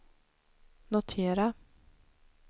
notera